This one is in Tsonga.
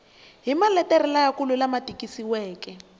hi maletere lamakulu lama tikisiweke